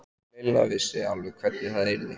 Lilla vissi alveg hvernig það yrði.